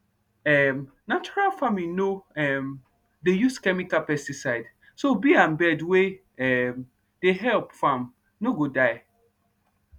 um natural farming no um dey use chemical pesticide so bee and bird wey um dey help farm no go die